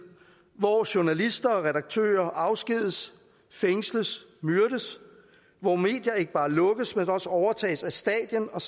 hvor journalister og redaktører afskediges fængsles myrdes hvor medier ikke bare lukkes men også overtages af staten og